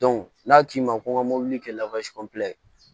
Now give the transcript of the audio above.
n'a k'i ma ko n ka mobili kɛ